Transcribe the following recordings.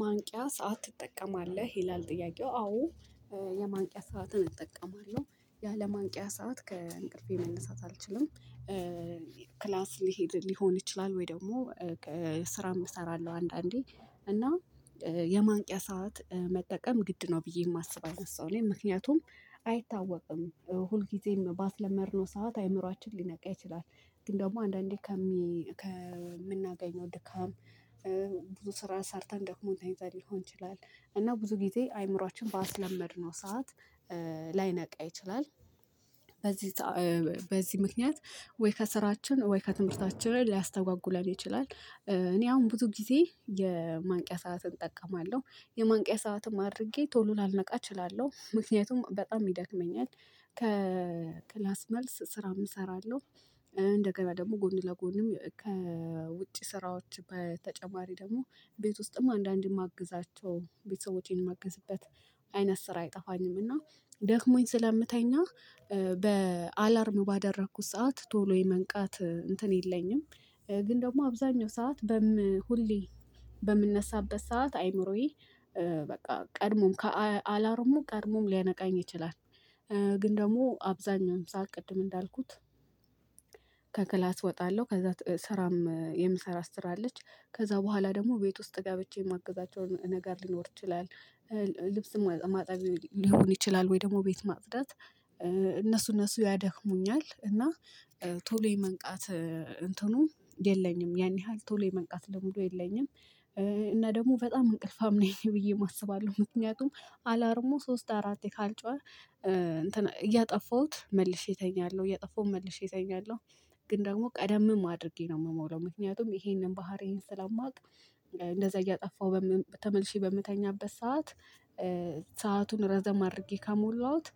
ማንቂያ ሰዓት ትጠቀማለህ ይላል? ጥያቄው አዎ። የማንቂያ ሰዓትን እጠቀማለሁ ያለማንቂያ ሰዓት ከእንቅልፌ መነሳት አልችልም። ክላስ ሊሄድ ሊሆን ይችላል ወይ ደግሞ? ስራም እሰራለሁ አንዳንዴ እና የማንቂያ ሰዓት መጠቀም ግድ ነው ብዬ የማስብ አይነሳውም ምክንያቱም አይታወቅም ሁልጊዜም ባስለመድነው ሰዓት አእምሮአችን ሊነቃ ይችላል። ግን ደግሞ አንዳንዴ ከምናገኘው ድካም ብዙ ስራ ሰርተን ደክሞንታይን ታይዛል ሊሆን ይችላል። እና ብዙ ጊዜ አእምሮአችን ባስለመድነው ሰዓት ላይነቃ ይችላል። በዚህ በዚህ ምክንያት ወይ ከስራችን ወይ ከትምህርታችን ላይ ሊያስተጓጉለን ይችላል። እኔ አሁን ብዙ ጊዜ የማንቂያ ሰዓትን እጠቀማለሁ የማንቂያ ሰዓትም አድርጌ ቶሎ ላነቃ እችላለሁ ምክንያቱም በጣም ይደክመኛል። ከክላስ መልስ ስራም እሰራለሁ። እንደገበያ ደግሞ ጎን ለጎንም ከውጪ ስራዎች በተጨማሪ ደግሞ ቤት ውስጥም አንዳንድም የማግዛቸው ቤተሰቦቼን የማግዝበት አይነት ስራ አይጠፋኝምና። ደክሞኝ ስለምተኛ በአላርም ባደረኩት ሰዓት ቶሎ የመንቃት እንትን የለኝም። ግን ደግሞ አብዛኛው ሰዓት በም ሁሌ በምነሳበት ሰዓት አይምሮዬ በቃ ቀድሞም ከአላርሞ ቀድሞም ሊያነቃኝ ይችላል። ግን ደግሞ አብዛኛውን ሰዓት ቅድም እንዳልኩት። ከክላስ እወጣለሁ ከዛ ስራም የምሰራት ስራአለች ከዛ በኋላ ደግሞ ቤት ውስጥ ገብቼ የማግዛቸውን ነገር ሊኖር ይችላል። ልብስም ማጣቢ ሊሆን ይችላል ወይ ደግሞ ቤት ማጽዳት። እነሱን እነሱ እነሱ ያደክሙኛል እና ቶሎ የመንቃት እንትኑም የለኝም ያን ያህል ቶሎ የመንቃት ልምዱ የለኝም። እና ደግሞ በጣም እንቅልፋም ነኝ ብዬ አስባለሁ። ምክንያቱም አላርሞ ሶስት አራት ካልጮኸ እያጠፉሁት መልሼ እተኛለሁ እያጠፉም መልሼ እተኛለሁ። ግን ደግሞ ቀደምም አድርጌ ነው የምሞላው ምክንያቱም ይሄንን ባህሪዬን ስላማውቅ። እንደዛ እያጠፋሁ ተመልሼ በምተኛበት ሰዓት። ሰአቱን ረዘም አድርጌ ካሞላሁት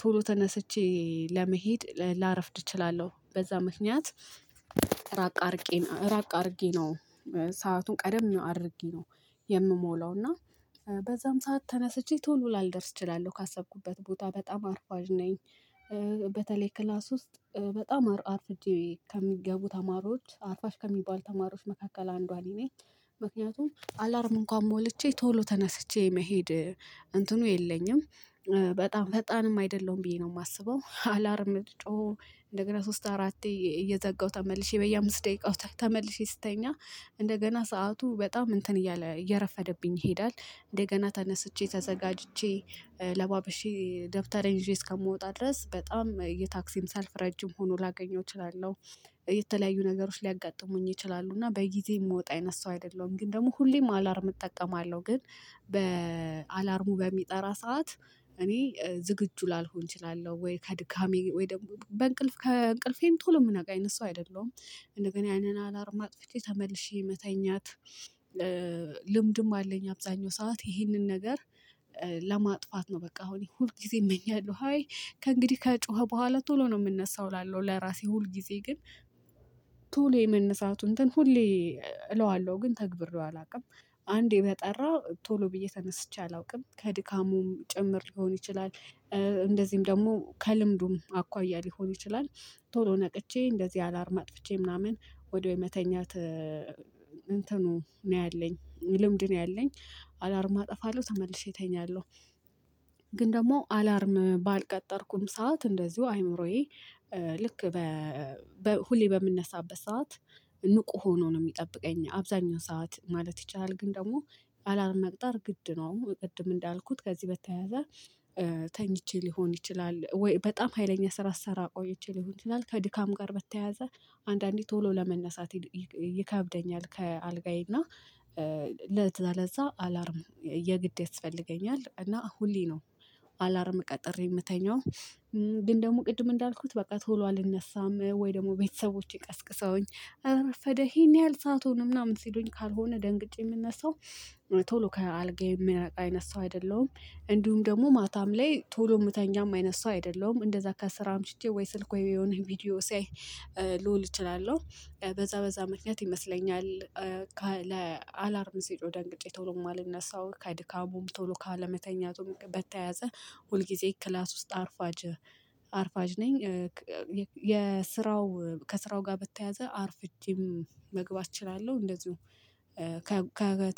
ቶሎ ተነስቼ ለመሄድ ላረፍድ እችላለሁ በዛ ምክንያት። ራቅ አድርጌ ራቅ አድርጌ ነው። ሰአቱን ቀደም አድርጌ ነው። የምሞላው እና በዛም ሰዓት ተነስቼ ቶሎ ላልደርስ እችላለሁ ካሰብኩበት ቦታ በጣም አርፋጅ ነኝ። በተለይ ክላስ ውስጥ በጣም አርፍጄ ከሚገቡ ተማሪዎች አርፋጅ ከሚባል ተማሪዎች መካከል አንዷን ነኝ። ምክንያቱም አላርም እንኳን ሞልቼ ቶሎ ተነስቼ መሄድ እንትኑ የለኝም። በጣም ፈጣንም አይደለሁም ብዬ ነው የማስበው። አላርም ጮሆ እንደገና ሶስት አራቴ እየዘጋሁ ተመልሼ በየአምስት ደቂቃው ተመልሼ ስተኛ እንደገና ሰዓቱ በጣም እንትን እያለ እየረፈደብኝ ይሄዳል። እንደገና ተነስቼ ተዘጋጅቼ ለባበሼ ደብተራዬን ይዤ እስከምወጣ ድረስ በጣም የታክሲም ሰልፍ ረጅም ሆኖ ላገኘው እችላለሁ። የተለያዩ ነገሮች ሊያጋጥሙኝ ይችላሉ እና በጊዜ የምወጣ አይነት ሰው አይደለሁም ግን ደግሞ ሁሌም አላርም እጠቀማለሁ ግን። በአላርሙ በሚጠራ ሰዓት እኔ ዝግጁ ላልሆን እችላለሁ ወይ ከድካሜ ወይ ደግሞ በእንቅልፍ ከእንቅልፌን ቶሎ የምናውቅ አይነት ሰው አይደለሁም እንደገና ያንን አላርም አጥፍቼ ተመልሼ መተኛት። ልምድም አለኝ አብዛኛው ሰዓት ይህንን ነገር። ለማጥፋት ነው በቃ አሁን ሁል ጊዜ እመኛለሁ። አይ ከእንግዲህ ከጮኸ በኋላ ቶሎ ነው የምነሳው እላለሁ ለራሴ ሁል ጊዜ ግን። ቶሎ የመነሳቱን እንትን ሁሌ እለዋለሁ ግን ተግብሬው አላውቅም። አንዴ በጠራ ቶሎ ብዬ ተነስቼ አላውቅም ከድካሙም ጭምር ሊሆን ይችላል። እንደዚህም ደግሞ ከልምዱም አኳያ ሊሆን ይችላል። ቶሎ ነቅቼ እንደዚህ አላርም አጥፍቼ ምናምን ወደ መተኛት። እንትኑ ነው ያለኝ ልምድ ነው ያለኝ። አላርማ አጠፋለሁ ተመልሼ እተኛለሁ። ግን ደግሞ አላርም ባልቀጠርኩም ሰዓት እንደዚሁ አይምሮዬ ልክ ሁሌ በምንነሳበት ሰዓት ንቁ ሆኖ ነው የሚጠብቀኝ አብዛኛው ሰዓት ማለት ይቻላል። ግን ደግሞ አላርም መቅጠር ግድ ነው እንደው ቅድም እንዳልኩት ከዚህ በተያያዘ። ተኝቼ ሊሆን ይችላል ወይ በጣም ሀይለኛ ስራ ስሰራ ቆይቼ ልሆን ይችላል ከድካም ጋር በተያያዘ። አንዳንዴ ቶሎ ለመነሳት ይከብደኛል። ከአልጋዬ እና ለዛ ለዛ አላርም የግድ ያስፈልገኛል እና ሁሌ ነው። አላርም ቀጥሬ የምተኛው። ግን ደግሞ ቅድም እንዳልኩት በቃ ቶሎ አልነሳም ወይ ደግሞ ቤተሰቦቼ ቀስቅሰውኝ አረፈደ ይሄን ያህል ሰአቱን ምናምን ሲሉኝ ካልሆነ ደንግጬ የምነሳው። ቶሎ ከአልጋ የሚረቃ አይነት ሰው አይደለሁም። እንዲሁም ደግሞ ማታም ላይ ቶሎ የምተኛም አይነት ሰው አይደለሁም። እንደዛ ከስራ አምሽቼ ወይ ስልክ ወይ የሆነ ቪዲዮ ሲያይ ልውል እችላለሁ። በዛ በዛ ምክንያት ይመስለኛል። ለአላርም ሲጮህ ደንቅጬ ቶሎ የማልነሳው ከድካሙም ቶሎ ካለመተኛቱም በተያዘ። ሁልጊዜ ክላስ ውስጥ አርፋጅ አርፋጅ ነኝ። የስራው ከስራው ጋር በተያያዘ አርፍቼም መግባት እችላለሁ እንደዚሁ ከ